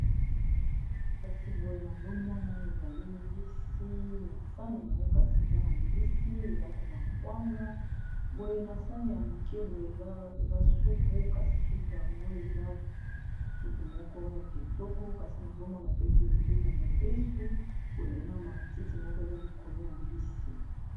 kasi boye nazomona ezali mbisi na sani yango kasi eza na mbisi eza pe na kwanga boye na sani ya moke boye eza supu kasi supu yango eza supu moko ya kitoko kasi nazomona pe pelipe ya mobesu boyena ma titi moko eza likolo ya mbisi